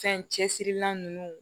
Fɛn cɛsirila ninnu